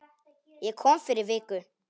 Ég kom fyrir viku